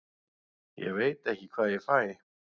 Ég veit ekki hvað ég fæ.